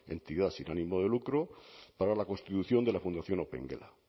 entidad sin ánimo de lucro para la constitución de la fundación opengela